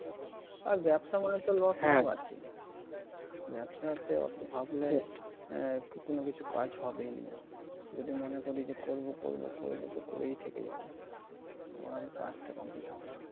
আর ব্যবসা মানে তো loss লাভ আছে ব্যবসাতে অত ভাবলে আহ কোন কিছু কাজ হবেই না যদি মনে করি যে করব করব করবো তো করেই থেকে যাব ও আর কাজটা complete হবে না।